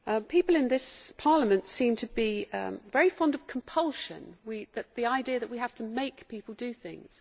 People in this Parliament seem to be very fond of compulsion, the idea that we have to make people do things.